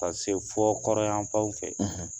Ka se fɔ kɔrɔnyanfanw fɛ